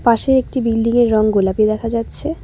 পাশেই একটি বিল্ডিংয়ের রং গোলাপি দেখা যাচ্ছে।